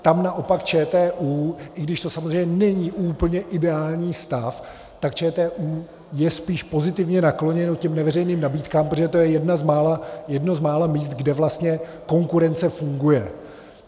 Tam naopak ČTÚ, i když to samozřejmě není úplně ideální stav, tak ČTÚ je spíš pozitivně nakloněno těm neveřejných nabídkám, protože to je jedno z mála míst, kde vlastně konkurence funguje.